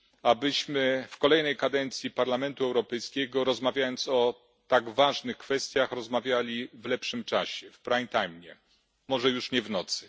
Abyśmy w kolejnej kadencji Parlamentu Europejskiego rozmawiając o tak ważnych kwestiach, rozmawiali w lepszym czasie, w prime time, może już nie w nocy.